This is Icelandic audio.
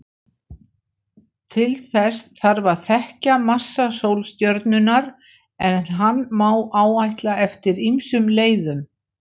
Til þess þarf að þekkja massa sólstjörnunnar, en hann má áætla eftir ýmsum leiðum.